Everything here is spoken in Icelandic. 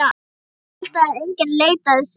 Ef hann héldi að enginn leitaði sín.